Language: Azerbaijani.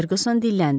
Ferquson dilləndi.